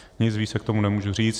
Nic víc k tomu nemůžu říct.